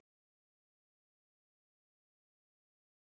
Hér að ofan lýstum við mögulegu inntaki orðanna sem við skoðum.